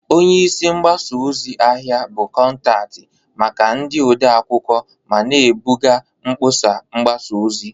Onye isi mgbasa ozi/ahịa bụ kọntaktị maka ndị ode akwụkwọ ma na-ebuga mkpọsa mgbasa ozi.